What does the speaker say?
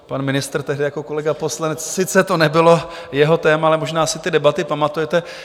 Pan ministr, tehdy jako kolega poslanec, sice to nebylo jeho téma, ale možná si ty debaty pamatujete.